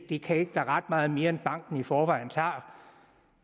det kan ikke være ret meget mere end banken i forvejen tager